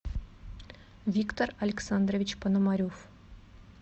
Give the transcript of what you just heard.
виктор александрович пономарев